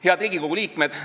Head Riigikogu liikmed!